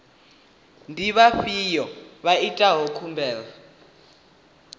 ndi vhafhiyo vha itaho khumbelo